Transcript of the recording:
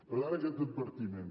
per tant aquest advertiment